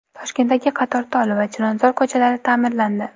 Toshkentdagi Qatortol va Chilonzor ko‘chalari ta’mirlandi .